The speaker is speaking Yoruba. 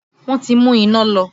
Wọn ti mú iná lọ